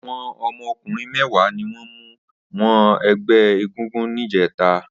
Awọn ọmọ ọkunrin mẹ̀wá niwọn mú wọ̀nú ẹgbẹ égúngún nijètá